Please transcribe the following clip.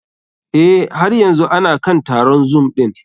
Eh, har yanzu ana kan taron zoom ɗin.